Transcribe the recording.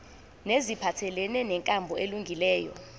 neziphathelene nenkambo elungileyo